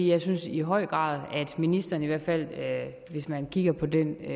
jeg synes i høj grad at ministeren i hvert fald hvis man kigger på den